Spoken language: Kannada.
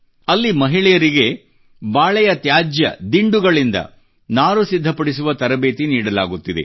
ಅಲ್ಲಿ ಮಹಿಳೆಯರಿಗೆ ಬಾಳೆಯ ತ್ಯಾಜ್ಯ ದಿಂಡುಗಳಿಂದ ನಾರು ಸಿದ್ಧಪಡಿಸುವ ತರಬೇತಿ ನೀಡಲಾಗುತ್ತಿದೆ